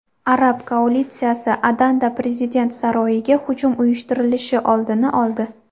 Arab koalitsiyasi Adanda prezident saroyiga hujum uyushtirilishi oldini oldi.